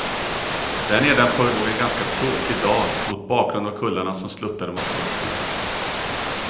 Där nedanför låg en ganska tråkig dal, mot bakgrund av kullarna som sluttade mot kusten.